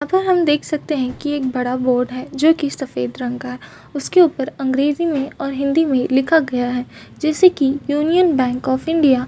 अतः हम देख सकते है कि एक बड़ा बोर्ड है जोकि सफेद रंग का है उसके ऊपर अंग्रेजी में और हिंदी में लिखा गया है जिसे की यूनियन बैंक ऑफ इंडिया --